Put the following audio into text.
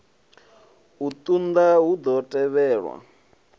u unḓa hu ḓo tevhelwa